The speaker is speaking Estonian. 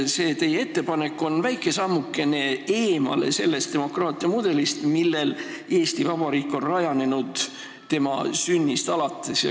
–, et teie ettepanek on väike sammukene eemale sellest demokraatia mudelist, millel Eesti Vabariik on rajanenud tema sünnist alates.